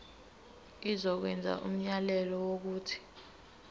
izokwenza umyalelo wokuthi